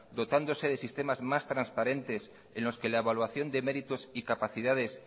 dotándose de sistemas más trasparentes en los que la evaluación de meritos y capacidades